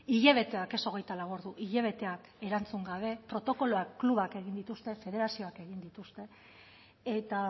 hilabeteak ez hogeita lau ordu hilabeteak erantzun gabe protokoloa klubak egin dituzte federazioak egin dituzte eta